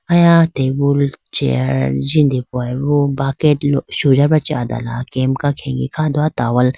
Aya tabool chair jindehoyibo bucket sujabra chi adala kemka khege kha do towal .